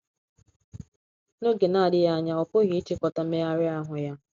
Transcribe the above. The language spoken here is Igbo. N’oge na - adịghị anya ọ pụghị ịchịkota mmegharị ahụ ya.